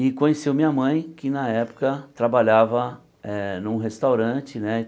E conheceu minha mãe, que na época trabalhava eh num restaurante né.